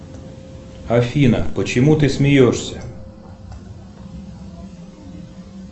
афина почему ты смеешься